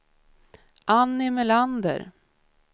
Annie Melander